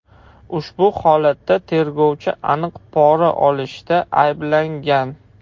Ushbu holatda tergovchi aniq pora olishda ayblangan.